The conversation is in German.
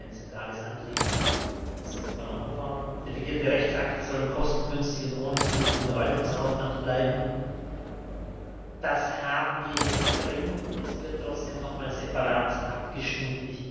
das war mir ein zentrales Anliegen. Das ist übernommen worden. Delegierte Rechtsakte sollen kostengünstig und ohne zusätzlichen Verwaltungsaufwand bleiben das haben wir jetzt drinnen, es wird trotzdem noch einmal separat abgestimmt.